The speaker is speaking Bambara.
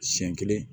Siɲɛ kelen